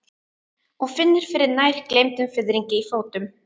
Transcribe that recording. Og finnur fyrir nær gleymdum fiðringi í fótum.